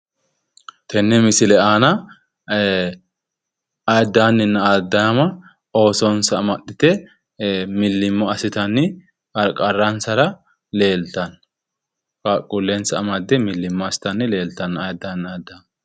Tenne misile aana ayiddaanninna ayiddaama oosonsa amaxxite millimmo assitanni qarqaransara leeltanno. qaaqquullensa amadde milimmo assitanni leeltanno ayddaamanna ayiddaanni.